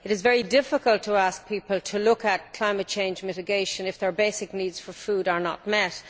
It is very difficult to ask people to look at climate change mitigation if their basic needs for food are not met.